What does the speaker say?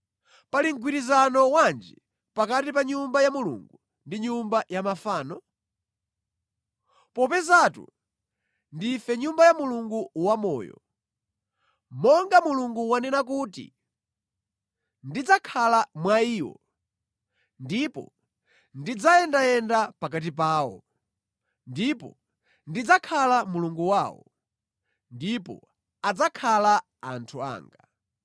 Pali mgwirizano wanji pakati pa Nyumba ya Mulungu ndi nyumba ya mafano? Popezatu ndife Nyumba ya Mulungu wamoyo. Monga Mulungu wanena kuti, “Ndidzakhala mwa iwo ndipo ndidzayendayenda pakati pawo, ndipo ndidzakhala Mulungu wawo, ndipo adzakhala anthu anga.”